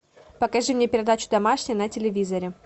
покажи мне передачу домашний на телевизоре